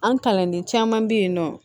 An kalanden caman be yen nɔ